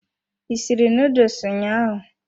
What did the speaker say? I sịrị noodles ụnyaahụ?